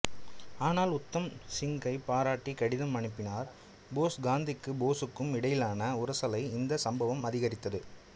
ஆனால் உத்தம் சிங்கைப் பாராட்டி கடிதம் அனுப்பினார் போஸ் காந்திக்கும் போசுக்கும் இடையிலான உரசலை இந்தச் சம்பவம் அதிகரித்தது